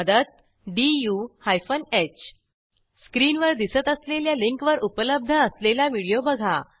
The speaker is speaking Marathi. मदत डीयू हायफन ह स्क्रीनवर दिसत असलेल्या लिंकवर उपलब्ध असलेला व्हिडिओ बघा